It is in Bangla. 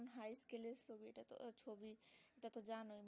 ওটা তো জান